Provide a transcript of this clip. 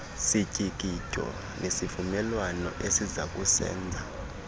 sityikityo nasivumelwano esizakusenza